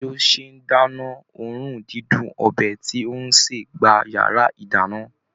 Bí ó ṣe ń dáná, òòrùn dídùn ọbẹ̀ tí ó ń sè gba yàrá ìdáná.